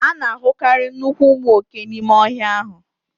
A na-ahụkarị nnukwu ụmụ oke n'ime ọhịa ahụ